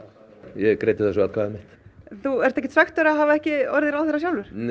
ég greiddi þessu atkvæði mitt þú ert ekkert svekktur að hafa ekki orðið ráðherra sjálfur